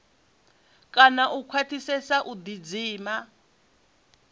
kana u khwaṱhisedza u ḓidzima